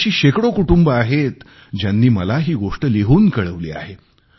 आणि अशी शेकडो कुटुंबे आहेत ज्यांनी मला ही गोष्ट लिहून कळवली आहे